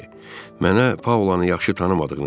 Mənə Paulanı yaxşı tanımadığını dedi.